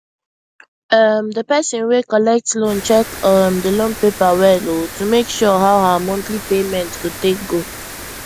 um the person wey collect loan check um the loan paper well um to make sure how her monthly payment go take go